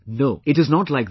No, it's not like that